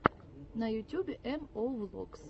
на ютюбе эм оу влогс